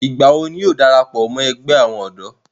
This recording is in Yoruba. ìgbà wo ni yóò darapọ̀ mọ́ ẹgbẹ́ àwọn ọ̀dọ́?